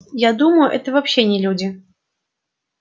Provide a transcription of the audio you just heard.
я думаю это вообще не люди